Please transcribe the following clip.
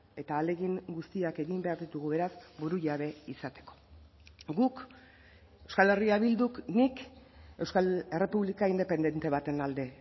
eta ahalegin guztiak egin behar ditugu beraz burujabe izateko guk euskal herria bilduk nik euskal errepublika independente baten alde